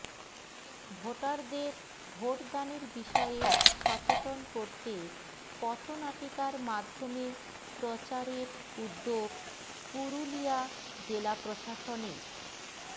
ভোটারদের ভোটদানের বিষয়ে সচেতন করতে পথনাটিকার মাধ্যমে প্রচারের উদ্যোগ পুরুলিয়া জেলা প্রশাসনের